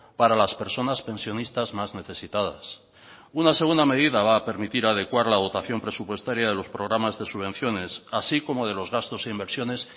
para las personas pensionistas más necesitadas una segunda medida va a permitir adecuar la dotación presupuestaria de los programas de subvenciones así como de los gastos e inversiones